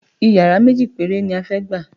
Yàrá méjì péré ni a fẹ́ gbà